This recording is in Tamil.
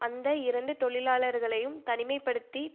அந்த இரண்டு தொழிலாளர்களையும் தனிமை படுத்தி